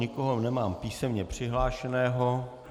Nikoho nemám písemně přihlášeného.